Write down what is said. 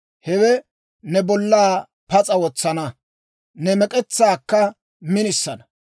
Hewe ne bollaa pas'a wotsana; ne mek'etsaakka minisana.